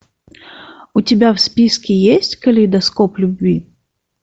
у тебя в списке есть калейдоскоп любви